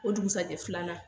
O dugusɛjɛ filanan